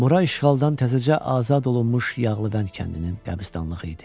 Bura işğaldan təzəcə azad olunmuş Yağlıbənd kəndinin qəbirstanlığı idi.